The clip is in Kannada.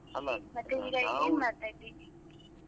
ಇವಾಗ್ ಏನ್ ಮಾಡ್ತಾಇದ್ದೀರಿ?